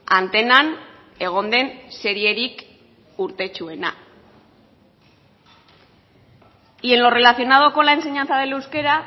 antenan egon den serierik urtetsuena y en lo relacionado con la enseñanza del euskera